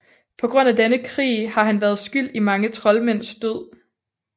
På grund af denne krig har han været skyld i mange troldmænds død